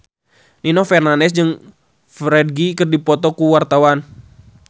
Nino Fernandez jeung Ferdge keur dipoto ku wartawan